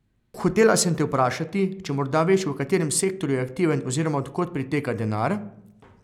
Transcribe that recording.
Hotela sem te vprašati, če morda veš v katerem sektorju je aktiven oziroma od kod priteka denar?